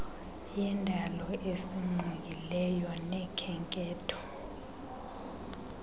yendalo esingqongileyo nokhenketho